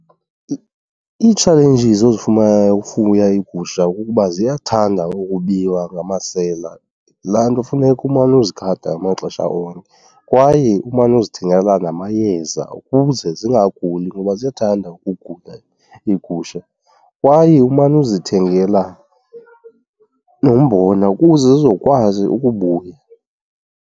Ii-challenges ozifumanayo ukufuya iigusha kukuba ziyathanda ukubiwa ngamasela. Yilaa nto funeka umane uzigada ngamaxesha onke kwaye umane uzithengela namayeza ukuze zingaguli ngoba ziyathanda ukugula iigusha. Kwaye umane uzithengela nombona ukuze zizokwazi ukubuya.